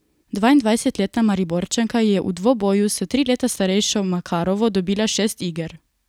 Dvaindvajsetletna Mariborčanka je v dvoboju s tri leta starejšo Makarovo dobila šest iger.